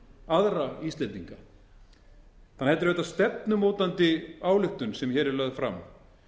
aðra íslendinga þannig að þetta er auðvitað stefnumótandi áætlun sem hérna er lögð fram